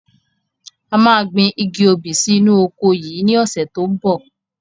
A máa gbìn igi obì sì inú oko yìí ni ọ̀sẹ̀ tó ń bọ̀.